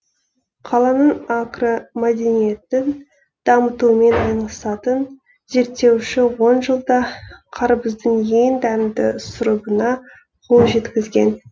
қаланың агромәдениетін дамытумен айналысатын зерттеуші он жылда қарбыздың ең дәмді сұрыбына қол жеткізген